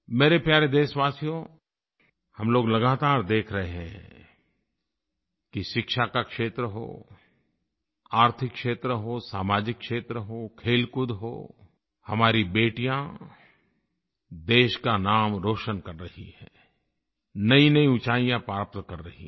मेरे प्यारे देशवासियों हम लोग लगातार देख रहे हैं कि शिक्षा का क्षेत्र हो आर्थिक क्षेत्र हो सामाजिक क्षेत्र हो खेलकूद हो हमारी बेटियाँ देश का नाम रोशन कर रही हैं नईनई ऊँचाइयाँ प्राप्त कर रही हैं